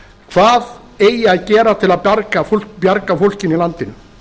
hvað eigi að gera til að bjarga fólkinu í landinu